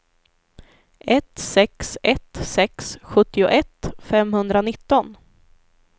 ett sex ett sex sjuttioett femhundranitton